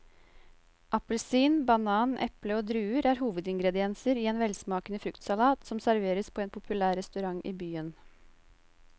Appelsin, banan, eple og druer er hovedingredienser i en velsmakende fruktsalat som serveres på en populær restaurant i byen.